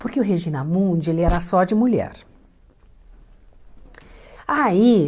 Porque o Regina Mundi ele era só de mulher aí.